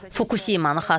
Fukusimanı xatırlayın.